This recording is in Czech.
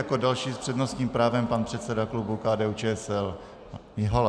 Jako další s přednostním právem pan předseda klubu KDU-ČSL Mihola.